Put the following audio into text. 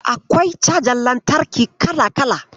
Akwai cajar lantarki kala-kala.